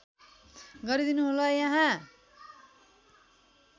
गरीदिनु होला यहाँ